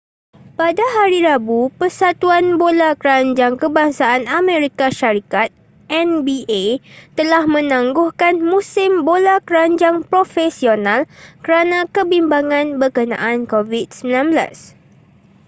pada hari rabu persatuan bola keranjang kebangsaan amerika syarikat nba telah menangguhkan musim bola keranjang profesional kerana kebimbangan berkenaan covid-19